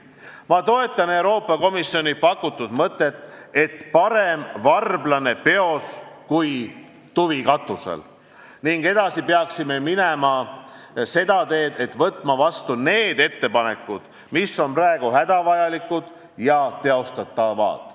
Ma toetan Euroopa Komisjoni pakutud mõtet, et parem varblane peos kui tuvi katusel – edasi peaksime minema seda teed, et võtame vastu need ettepanekud, mis on praegu hädavajalikud ja teostatavad.